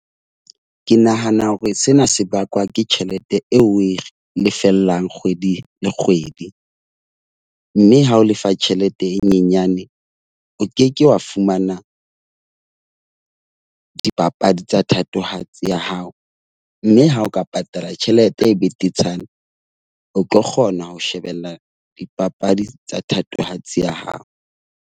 Ke nahana hore sena se bakwa ke tjhelete eo oe re lefellang kgwedi le kgwedi. Mme ha o lefa tjhelete e nyenyane, o ke ke wa fumana dipapadi tsa thatohatsi ya hao. Mme ha o ka patala tjhelete e betetshana, o tlo kgona ho shebella dipapadi tsa thatohatsi ya hao.